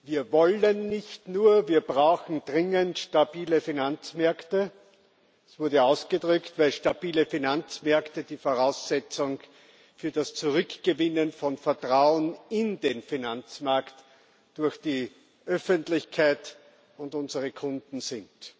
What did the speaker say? Wir wollen nicht nur, wir brauchen dringend stabile Finanzmärkte. Das wurde ausgedrückt, weil stabile Finanzmärkte die Voraussetzung für das Zurückgewinnen von Vertrauen in den Finanzmarkt durch die Öffentlichkeit und unsere Kunden sind.